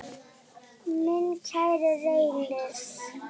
Minn kæri Reynir.